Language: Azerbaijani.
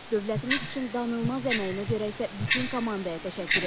Dövlətimiz üçün danılmaz əməyinə görə isə bütün komandaya təşəkkür edirəm.